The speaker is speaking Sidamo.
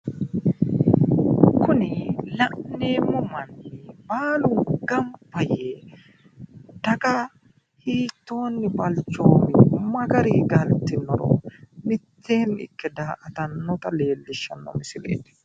kuni la'neemmo manni baalu gamba yee daga hiittooni balchoobbe ma garinni galtinoro mitteeni ikke daa"atannota leellishshanno misileeti